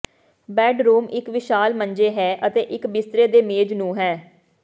bedroom ਇੱਕ ਵਿਸ਼ਾਲ ਮੰਜੇ ਹੈ ਅਤੇ ਇੱਕ ਬਿਸਤਰੇ ਦੇ ਮੇਜ਼ ਨੂੰ ਹੈ